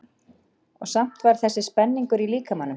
Og samt samt var þessi spenningur í líkamanum.